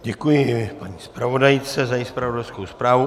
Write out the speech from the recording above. Děkuji paní zpravodajce za její zpravodajskou zprávu.